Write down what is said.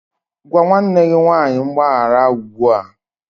Gwa nwanne gị nwanyị mgbaghara ugbu a!